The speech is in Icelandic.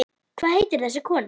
Hvað heitir þessi kona?